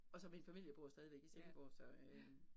Og så min familie bor stadigvæk i Silkeborg så øh